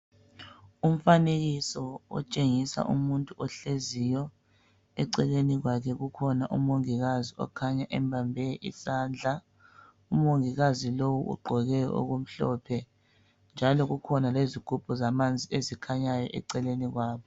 Umfanekiso otshengisa umuntu ohleziyo. Eceleni kwakhe kukhona umongikazi okhanya embambe isandla. Umongikazi lowu ugqoke okumhlophe njalo kukhona lezigubhu zamanzi ezikhanyayo eceleni kwabo.